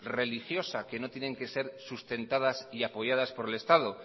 religiosa que no tienen que ser sustentadas y apoyadas por el estado